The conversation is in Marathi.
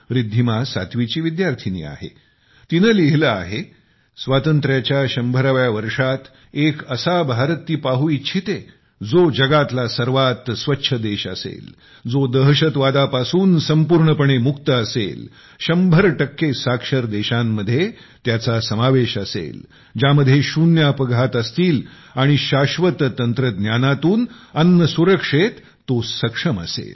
रिद्धिमा सातवीची विद्यार्थिनी आहे तिने लिहिले आहे स्वातंत्र्याच्या 100व्यावर्षात एका असा भारत ती पाहू इच्छिते जो जगातला सर्वात स्वच्छ देश असेल जो दहशतवादापासून संपूर्णपणे मुक्त असेल शंभर टक्के साक्षर देशात त्याचा समावेश असेल ज्यामध्ये शून्य अपघात असतील आणि शाश्वत तंत्रज्ञानातून अन्नसुरक्षेत सक्षम असेल